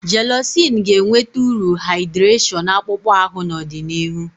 Jélọ̀cị́n ga-enweta uru haịdị́réshọ̀n akpụkpọ ahụ n'ọdịnihu